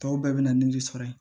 Tɔw bɛɛ bɛ na ni de sɔrɔ yen